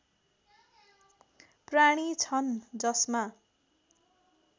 प्राणी छन् जसमा